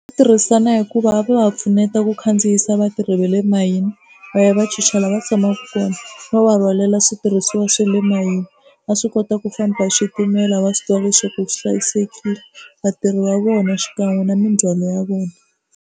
Tirhisana hikuva a va pfuneta ku khandziyisa vatirhi va le mayini va ya va chicha la va tshamaka kona no va rhwalela switirhisiwa swa le mayini va swi kota ku famba hi xitimela va swi tiva leswaku swi hlayisekile vatirhi va vona xikan'we na mindzhwalo ya vona.